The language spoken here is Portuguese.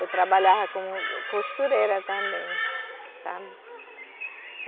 Eu trabalhava como costureira também, sabe?